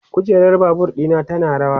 kujerar Babur ɗina tana rawa